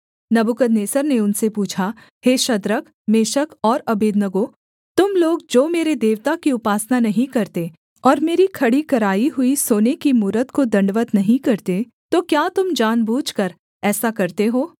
नबूकदनेस्सर ने उनसे पूछा हे शद्रक मेशक और अबेदनगो तुम लोग जो मेरे देवता की उपासना नहीं करते और मेरी खड़ी कराई हुई सोने की मूरत को दण्डवत् नहीं करते तो क्या तुम जान बूझकर ऐसा करते हो